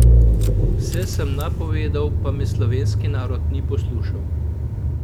Vse sem napovedal, pa me slovenski narod ni poslušal!